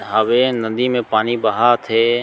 हवे नदी मे पानी बहत हे।